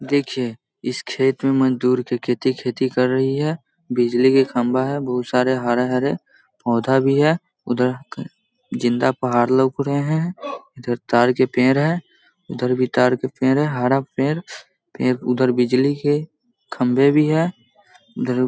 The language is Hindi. देखिए इस खेत में मजदूर की खेती खेती कर रही है बिजली के खम्भा है बहुत सारे हरे-हरे पौधा भी है उधर जिन्दा पहाड़ लग रहे है इधर तार के पेड़ है उधर भी तार का पेड़ है हरा पेड़ फिर उधर बिजली के खंभे भी है --